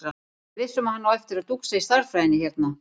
Ég er viss um að hann á eftir að dúxa í stærðfræðinni hérna.